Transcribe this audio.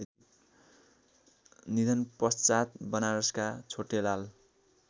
निधनपश्चात बनारसका छोटेलाल